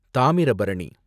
Thamirabarani